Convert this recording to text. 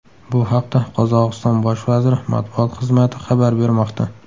Bu haqda Qozog‘iston bosh vaziri matbuot xizmati xabar bermoqda .